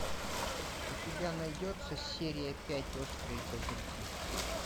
у тебя найдется серия пять острые козырьки